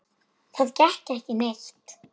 Það gekk ekki neitt.